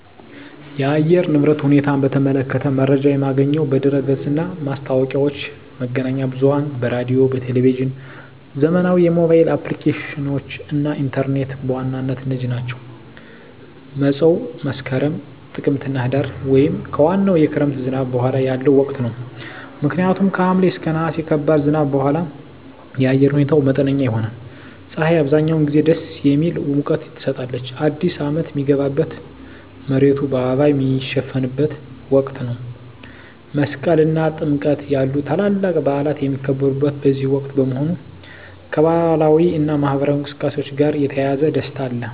የአየር ንብረት ሁኔታን በተመለከተ መረጃ የማገኘው በድረ-ገጽ እና ማስታወቂያዎች፣ መገናኛ ብዙኃን በራዲዮ፣ በቴሊቭዥን፣ ዘመናዊ የሞባይል አፕሊኬሽኖች እና ኢንተርኔት በዋናነት እነዚህ ናቸው። መፀው መስከረም፣ ጥቅምትና ህዳር) ወይም ከዋናው የክረምት ዝናብ በኋላ ያለው ወቅት ነው። ምክንያቱም ከሐምሌ እና ነሐሴ ከባድ ዝናብ በኋላ የአየር ሁኔታው መጠነኛ ይሆናል። ፀሐይ አብዛኛውን ጊዜ ደስ የሚል ሙቀት ትሰጣለች። አዲስ አመት ሚገባበት፣ መሬቱ በአበባ ሚሸፈንበት ወቅት ነው። መስቀል እና ጥምቀት ያሉ ታላላቅ በዓላት የሚከበሩት በዚህ ወቅት በመሆኑ፣ ከባህላዊ እና ማኅበራዊ እንቅስቃሴዎች ጋር የተያያዘ ደስታ አለ።